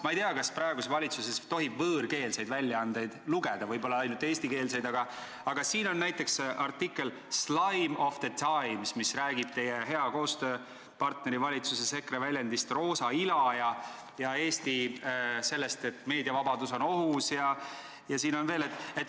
Ma ei tea, kas praeguses valitsuses tohib võõrkeelseid väljaandeid lugeda, võib-olla tuleb lugeda ainult eestikeelseid, aga siin on näiteks artikkel "Slime of the times", mis räägib teie hea koostööpartneri EKRE väljendist "roosa ila" ja sellest, et Eestis on meediavabadus ohus ja siin on veel ...